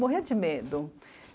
Morria de medo.